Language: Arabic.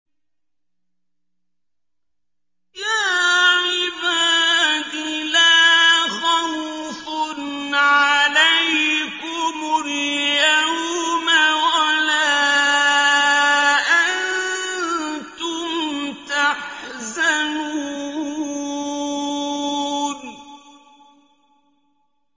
يَا عِبَادِ لَا خَوْفٌ عَلَيْكُمُ الْيَوْمَ وَلَا أَنتُمْ تَحْزَنُونَ